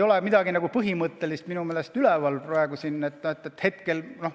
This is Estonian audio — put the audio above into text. Aga midagi põhimõttelist minu meelest hetkel üleval ei ole.